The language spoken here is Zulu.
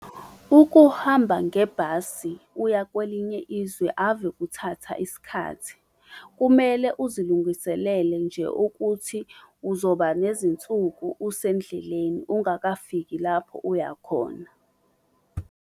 Ukuhamba ngebhasi uya kwelinye izwe ave kuthatha isikhathi. Kumele uzilungiselele nje ukuthi uzoba nezinsuku usendleleni ungakafiki lapho uyakhona.